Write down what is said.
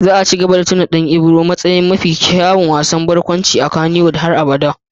Za a ci gaba da tuna da Dan Ibro a matsayin mafi kyawun dan wasan barkwanci a Kannywood har abada.